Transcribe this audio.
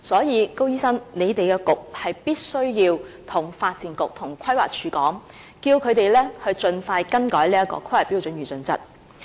因此，高醫生，你們的政策局必須要求發展局和規劃署盡快更改規劃標準與準則。